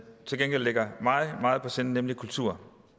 til gengæld ligger mig meget på sinde nemlig kultur